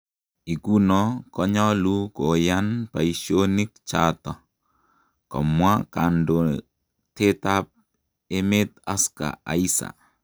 Ikuno konyalu koyaan paishonik chato? komwa kandotet ap amet ascar aisa.